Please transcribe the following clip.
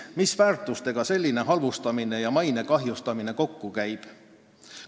Milliste väärtustega selline halvustamine ja maine kahjustamine kokku käib?